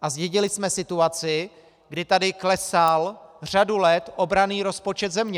A zdědili jsme situaci, kdy tady klesal řadu let obranný rozpočet země.